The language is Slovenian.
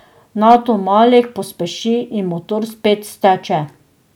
Nato Malik pospeši in motor spet steče.